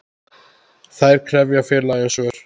Þær krefja félagið um svör.